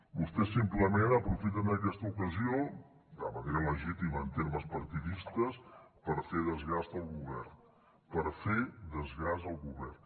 vostès simplement aprofiten aquesta ocasió de manera legítima en termes partidistes per fer desgast al govern per fer desgast al govern